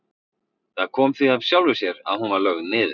Það kom því af sjálfu sér að hún var lögð niður.